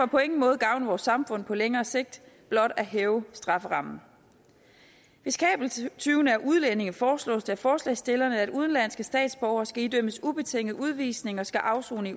på ingen måde gavne vores samfund på længere sigt blot at hæve strafferammen hvis kabeltyvene er udlændinge foreslås det af forslagsstillerne at disse udenlandske statsborgere skal idømmes ubetinget udvisning og skal afsone i